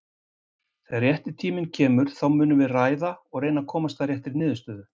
Þegar rétti tíminn kemur, þá munum við ræða og reyna að komast að réttri niðurstöðu.